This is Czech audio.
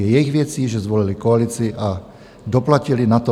Je jejich věcí, že zvolili koalici a doplatili na to.